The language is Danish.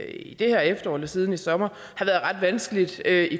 i det her efterår eller siden i sommer har været ret vanskeligt at